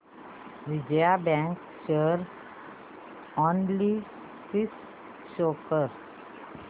Vijaya bank share analysis show कर